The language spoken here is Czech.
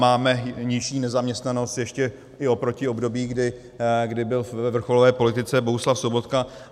Máme nejnižší nezaměstnanost ještě i oproti období, kdy byl ve vrcholové politice Bohuslav Sobotka.